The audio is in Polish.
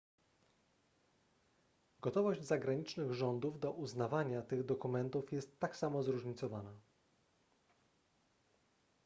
gotowość zagranicznych rządów do uznawania tych dokumentów jest tak samo zróżnicowana